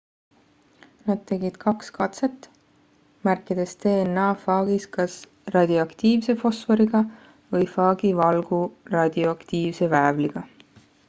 nad tegid kaks katset märkides dna faagis kas radioaktiivse fosforiga või faagi valgu radioaktiivse väävliga